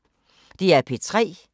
DR P3